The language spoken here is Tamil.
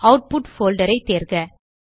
ஆட்புட் போல்டர் ஐ தேர்க